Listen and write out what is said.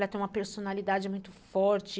Ela tem uma personalidade muito forte.